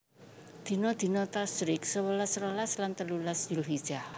Dina dina Tasyrik sewelas rolas lan telulas Zulhijjah